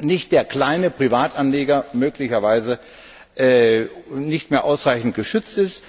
nicht der kleine Privatanleger möglicherweise nicht mehr ausreichend geschützt ist.